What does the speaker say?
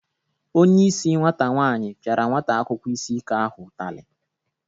Onyeisi nwata nwaanyị pịara nwata akwụkwọ isi ike ahụ ụtalị.